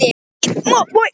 Ég á víst að hjálpa þér.